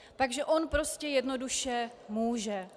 Takže on prostě jednoduše může.